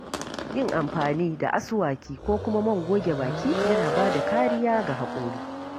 Yin amfani da aswaki ko kuma man goge baki yana ba da kariya ga haƙora.